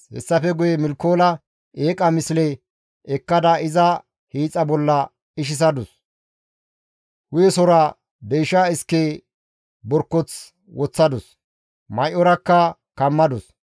Hessafe guye Milkoola eeqa misle ekkada iza hiixa bolla ishisadus; hu7esora deysha iske borkoth woththadus; may7orakka kammadus.